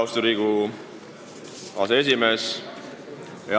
Austatud Riigikogu aseesimees!